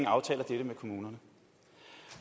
aftaler dette med kommunerne